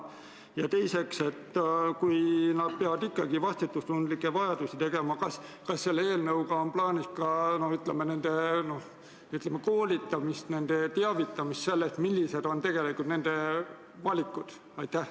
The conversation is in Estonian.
Ja teiseks: kui inimesed peavad vastutustundlikke valikuid tegema, siis kas selle eelnõuga on plaanis pakkuda neile ka vastavat koolitust, teavitada neid sellest, millised on tegelikult nende valikud?